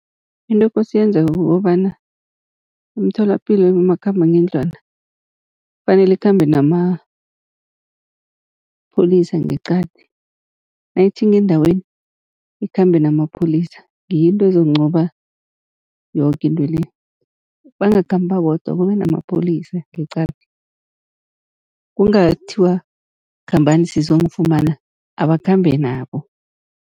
Into ekose yenzeke kukobana imitholapilo ebomakhambangendlwana kufanele ikhambe namapholisa ngeqadi nayitjhinga endaweni ikhambe namapholisa. Ngiyo into ezonqoba yoke into le, bangakhambi babodwa kube namapholisa ngeqadi kungathiwa khambani sizonifumana abakhambe nabo.